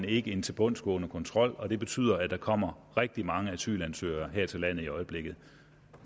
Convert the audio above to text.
ikke en tilbundsgående kontrol og det betyder at der kommer rigtig mange asylansøgere her til landet i øjeblikket